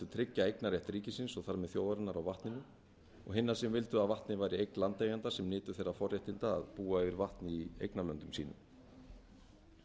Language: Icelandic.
tryggja eignarrétt ríkisins og þar með þjóðarinnar á vatninu og hinna sem vildu að vatnið væri eign landeigenda sem nytu þeirra forréttinda að búa yfir vatni í eignarlöndum sínum